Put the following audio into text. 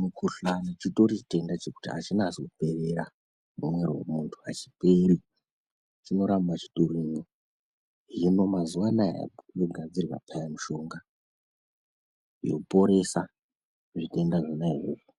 Mukuhlani chitori chitenda chekuti achinasi kuperera mumuviri wemuntu achiperi chinoramba chitorimwo, hino mazuvano yogadzirwa peya mushonga yoporesa zvitenda zvona izvozvo